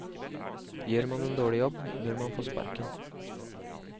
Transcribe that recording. Gjør man en dårlig jobb, bør man få sparken.